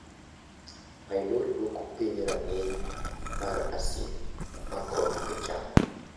Pylori duoko piny rang`iny mar asid, mae konyo e chango.